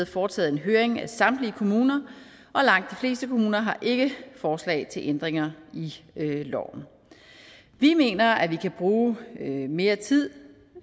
foretaget en høring af samtlige kommuner og langt de fleste kommuner har ikke forslag til ændringer i loven vi mener at vi kan bruge mere tid